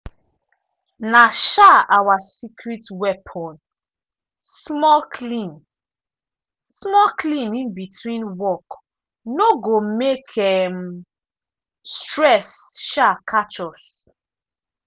na um our secret weapon - small clean -small clean in between work no go make um stress um catch us.